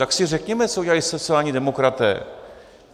Tak si řekněme, co udělali sociální demokraté?